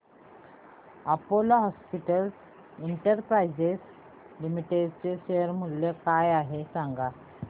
Apollo hospitals enterprise limited चे share मूल्य काय आहे सांगा